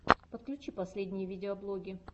подключи последние видеоблоги